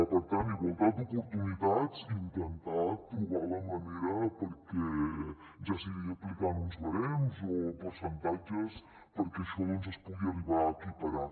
per tant igualtat d’oportuni·tats i intentar trobar la manera perquè ja sigui aplicant uns barems o percentatges això doncs es pugui arribar a equiparar